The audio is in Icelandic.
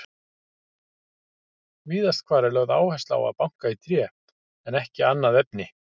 Víðast hvar er lögð áhersla á að banka í tré en ekki annað efni.